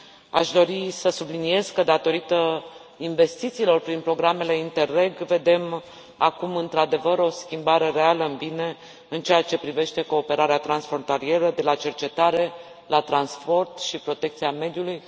Aș dori să subliniez că, datorită investițiilor prin programele INTERREG vedem acum, într adevăr, o schimbare reală în bine în ceea ce privește cooperarea transfrontalieră de la cercetare la transport și protecția mediului.